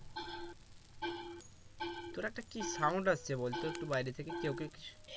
তোর একটা কি sound আসছে বলতো বাইরে থেকে কেউ কি কিছু